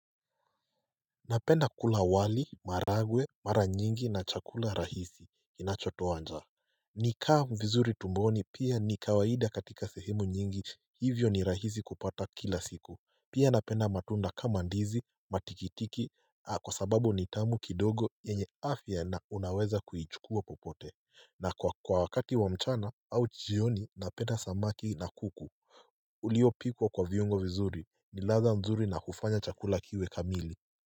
Napenda kula wali maharagwe mara nyingi na chakula rahisi kinachotoa njaa ni kaa vizuri tumboni pia ni kawaida katika sehemu nyingi Hivyo ni rahisi kupata kila siku pia napenda matunda kama ndizi matikitiki kwa sababu ni tamu kidogo yenye afya na unaweza kuichukua popote na kwa kwa wakati wa mchana au jioni napenda samaki na kuku Uliopikwa kwa viungo vizuri ni ladha mzuri na hufanya chakula kiwe kamili.